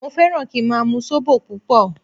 Mo fẹ́ràn kí n máa mu Zobo púpọ̀